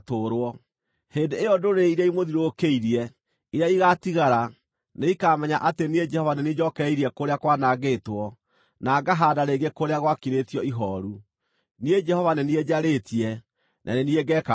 Hĩndĩ ĩyo ndũrĩrĩ iria imũthiũrũrũkĩirie, iria igaatigara, nĩikamenya atĩ niĩ Jehova nĩ niĩ njookereirie kũrĩa kwanangĩtwo, na ngahaanda rĩngĩ kũrĩa gwakirĩtio ihooru. Niĩ Jehova nĩ niĩ njarĩtie, na nĩ niĩ ngeeka ũguo.’